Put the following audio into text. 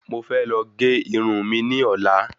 Mo fẹ́ lọ gé irun mi ní ọ̀la